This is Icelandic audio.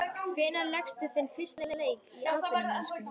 Hvenær lékstu þinn fyrsta leik í atvinnumennsku?